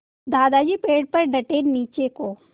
दादाजी पेड़ पर डटे नीचे को